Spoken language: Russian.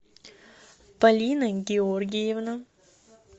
полина георгиевна